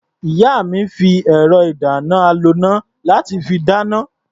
Ìyá mi fi ẹ̀rọ-ìdáná-aloná láti fi dáná.